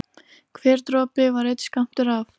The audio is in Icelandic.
Hver dropi var einn skammtur af